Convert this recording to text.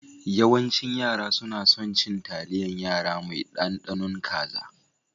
Yawancin yara suna son cin taliyan yara mai ɗaɗanun kaza